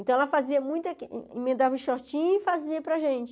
Então, ela fazia muito, emendava o shortinho e fazia para a gente.